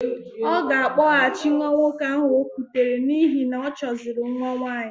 Ọ ga-akpọghachi nwa nwoke ahụ o kutere n'ihi na ọchọziri nwa nwaanyị.